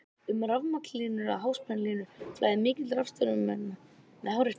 um rafmagnslínur eða háspennulínur flæðir mikill rafstraumur með hárri spennu